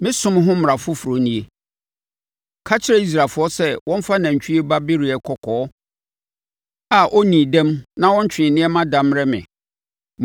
“Me som ho mmara foforɔ nie: Ka kyerɛ Israelfoɔ sɛ wɔmfa nantwie ba bereɛ kɔkɔɔ a ɔnnii dɛm na ɔntwee nneɛma da mmrɛ me.